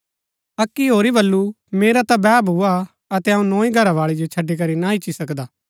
अक्की होरी बल्लू मेरा ता बैह भुआ अतै अऊँ नोई घरावाळी जो छड़ी करी ना ईच्ची सकदा